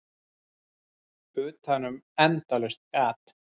Utanum endalaust gat.